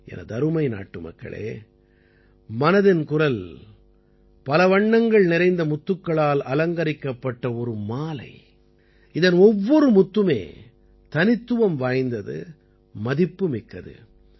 எனதருமை நாட்டுமக்களே மனதின் குரல் பல வண்ணங்கள் நிறைந்த முத்துக்களால் அலங்கரிக்கப்பட்ட ஒரு மாலை இதன் ஒவ்வொரு முத்துமே தனித்துவம் வாய்ந்தது மதிப்புமிக்கது